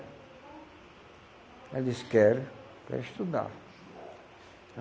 Ela disse, quero, quero estudar.